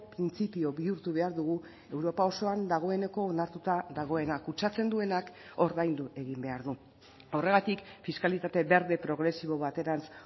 printzipio bihurtu behar dugu europa osoan dagoeneko onartuta dagoena kutsatzen duenak ordaindu egin behar du horregatik fiskalitate berde progresibo baterantz